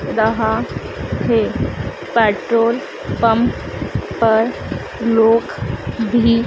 दहा है। Petrol pump पर लोग भी--